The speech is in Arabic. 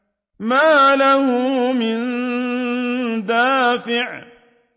مَّا لَهُ مِن دَافِعٍ